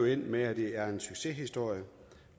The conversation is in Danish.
endt med at det er en succeshistorie